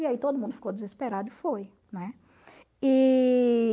E aí todo mundo ficou desesperado e foi, né? E...